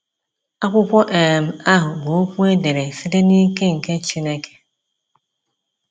Akwụkwọ um ahụ bụ Okwu e dere site n'ike nke Chineke.